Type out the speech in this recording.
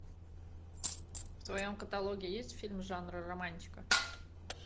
в твоем каталоге есть фильм жанра романтика